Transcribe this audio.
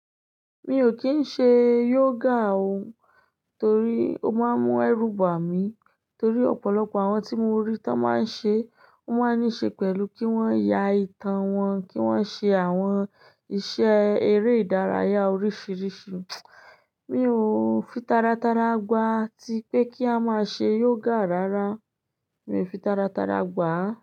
Mi ò kín ń ṣe yoga o, torí ó máa ń mú ẹrú bà mí, torí ọ̀pọ̀lọpọ̀ àwọn tí mo rí tán máa ń ṣe, wón máa ń ní ṣe pẹ̀lú kí wón ya itan wọn, kí wón ṣe àwọn iṣẹ́ eré ìdárayá oríṣiríṣi. Mi ò fi taratara gbà tí pé kí á máa ṣe yoga rárá, mi ò fi taratara gbà.